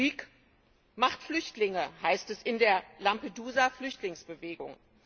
Krieg macht Flüchtlinge, heißt es in der Lampedusa Flüchtlingsbewegung.